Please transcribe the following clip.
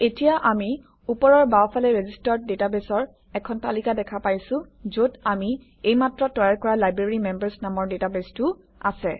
এতিয়া আমি ওপৰৰ বাওঁফালে ৰেজিষ্টাৰ্ড ডাটাবেছৰ এখন তালিকা দেখা পাইছোঁ যত আমি এইমাত্ৰ তৈয়াৰ কৰা লাইব্ৰেৰীমেম্বাৰ্ছ নামৰ ডাটাবেছটোও আছে